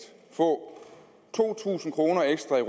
få to tusind kroner ekstra i